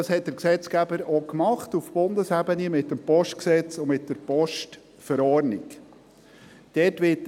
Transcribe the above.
Das hat der Gesetzgeber auch getan – auf Bundesebene mit dem Postgesetz vom 17. Dezember 2010 (PG) und mit der Postverordnung vom 29. August 2012 (VPG).